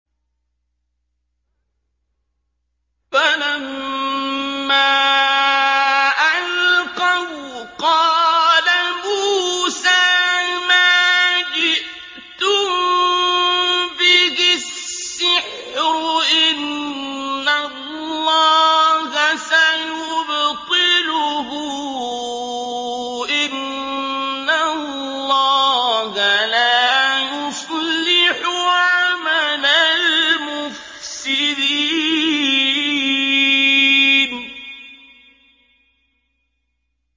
فَلَمَّا أَلْقَوْا قَالَ مُوسَىٰ مَا جِئْتُم بِهِ السِّحْرُ ۖ إِنَّ اللَّهَ سَيُبْطِلُهُ ۖ إِنَّ اللَّهَ لَا يُصْلِحُ عَمَلَ الْمُفْسِدِينَ